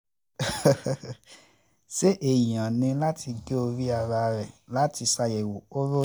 ṣé èèyàn um ní láti gé orí um ara ẹ̀ láti ṣàyẹ̀wò koro ni